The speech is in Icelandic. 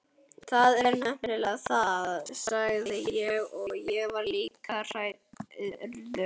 Það er nefnilega það, sagði ég og var líka hrærður.